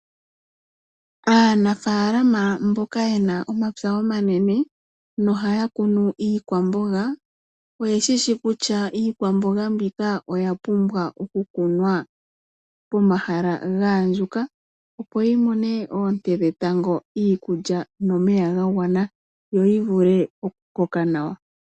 Aanafalama mboka yena omapya omanene nohaya kunu iikwamboga oye shishi kutya iikwamboga mbika oya pumbwa oku kunwa ga andjuka opo yi mone oonte dhetango, iikulya nomeya ga gwana yo yi vule oku koka nawa.